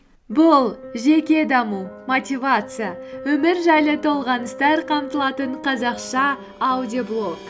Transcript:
бұл жеке даму мотивация өмір жайлы толғаныстар қамтылатын қазақша аудиоблог